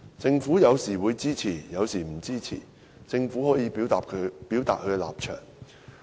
政府有時會支持，有時不支持，政府可表達立場。